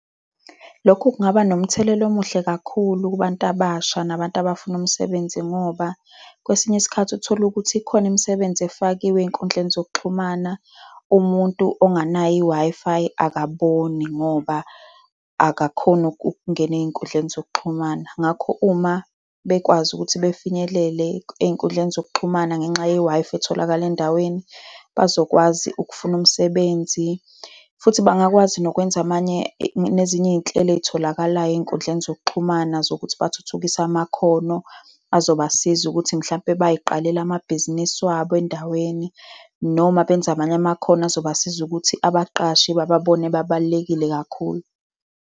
Lokhu kungaba nomthelela omuhle kakhulu kubantu abasha nabantu abafuna umsebenzi, ngoba kwesinye isikhathi utholukuthi ikhona imisebenzi efakiwe ey'nkundleni zokuxhumana. Umuntu onganayo i-Wi-Fi akaboni, ngoba akakhoni ukungena ey'nkundleni zokuxhumana. Ngakho uma bekwazi ukuthi befinyelele ey'nkundleni zokuxhumana ngenxa ye-Wi-Fi etholakala endaweni, bazokwazi ukufuna umsebenzi, futhi bangakwazi nokwenza amanye, nezinye iy'nhlelo ey'tholakalayo ey'nkundleni zokuxhumana zokuthi bathuthukise amakhono azobasiza ukuthi mhlampe bay'qalele amabhizinisi wabo endaweni, noma benze amanye amakhono azobasiza ukuthi abaqashi bababone bebalulekile kakhulu.